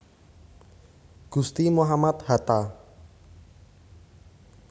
Gusti Muhammad Hatta